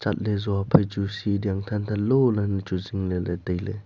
chatley zo phai chu si dau than than lo ley chu zingle ley tailey.